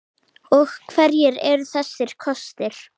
Og hverjir eru þessir kostir?